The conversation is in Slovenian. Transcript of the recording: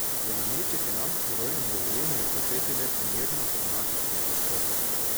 Za nameček je nam herojem dovoljeno utrpeti le primerno dramatične poškodbe.